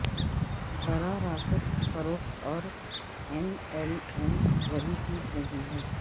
براہ راست فروخت اور ایم ایل ایم وہی چیز نہیں ہیں